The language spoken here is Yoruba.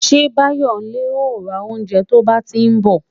Ṣé bayonle ó ra oúnjẹ to bá ti ń bọ̀